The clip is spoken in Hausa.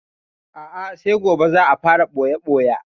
A'a sai gobe za a fara ɓoya-ɓoya.